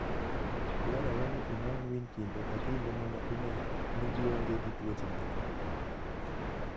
Dwarore ni inon winy kinde ka kinde mondo ine ni gionge gi tuoche moko.